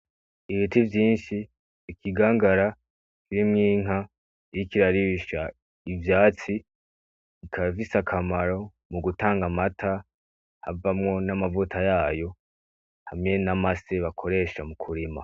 Ibiti vyinshi, ikigangara kirimwo inka iriko irarisha ivyatsi bikaba bifise akamaro mugutanga amata avamwo n’amavuta yayo hamwe n’amase bakoresha mu kurima.